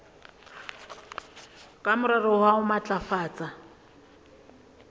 ka morero wa ho matlafatsa